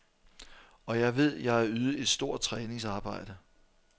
Og jeg ved, jeg har ydet et stort træningsarbejde.